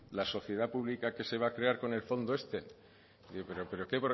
la sociedad pública que se va a crear con el fondo este pero qué